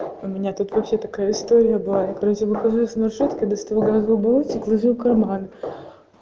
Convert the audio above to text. у меня тут вообще такая история была я короче выхожу из маршрутки достаю газовый баллончик ложу в карман